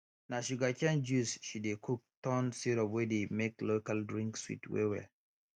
na sugarcane juice she dey cook turn syrup wey dey make local drink sweet wellwell